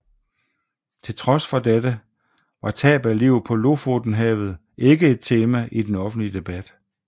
Til trods for dette var tab af liv på Lofotenhavet ikke et tema i den offentlige debat